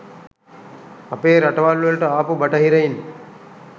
අපේ රටවල් වලට ආපු බටහිරයින්.